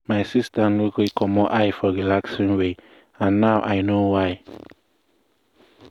my sister no gree commot eye for relaxing way and now i sabi why.